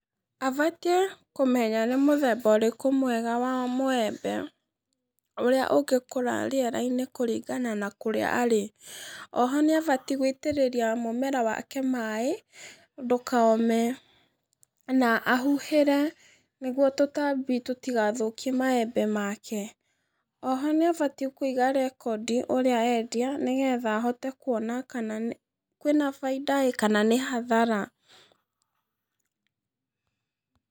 Abatiĩ kũmenya nĩ mũthemba ũrĩkũ mwega wa mũembe, ũrĩa ũngĩkũra rĩera-inĩ kũringana na kũrĩa arĩ, oho nĩabatiĩ gũitĩrĩria mũmera wake maĩ ndũkome, na ahuhĩre nĩguo tũtambi tũtigathũkie maembe make, oho nĩabatiĩ kũiga rekondi ũrĩa endia nĩgetha ahote kuona kana nĩ kwĩna bainda ĩ, kana nĩ hathara.